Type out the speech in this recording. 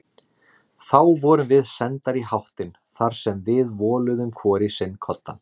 Þá vorum við sendar í háttinn þar sem við voluðum hvor í sinn koddann.